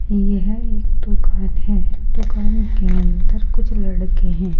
यह एक दुकान है दुकान के अंदर कुछ लड़के हैं।